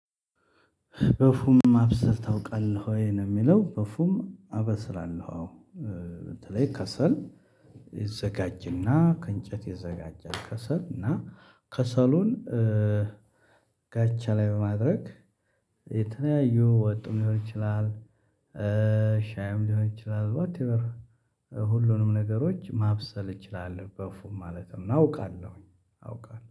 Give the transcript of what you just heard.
በፉም ማብሰል ታውቃለህ ወይ ነው? የሚለው በፉም አበስላለሁ አዎ። በተለይ ከሰል ይዘጋጅና ከእንጨት ይዘጋጃል። ከሰል እና ከሰሉን ጋቻ ላይ በማድረግ የተለያዩ ወጥም ሊሆን ይችላል። ሻይም ሊሆን ይችላል ዋትኤቨር ሁሉንም ነገሮች ማብሰል እችላለሁ። በፉም ማለትም አውቃለሁኝ